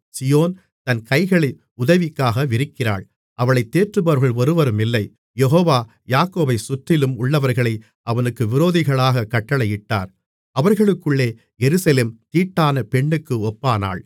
சீயோன் தன் கைகளை உதவிக்கா விரிக்கிறாள் அவளைத் தேற்றுபவர்கள் ஒருவருமில்லை யெகோவா யாக்கோபைச் சுற்றிலும் உள்ளவர்களை அவனுக்கு விரோதிகளாகக் கட்டளையிட்டார் அவர்களுக்குள்ளே எருசலேம் தீட்டான பெண்ணுக்கு ஒப்பானாள்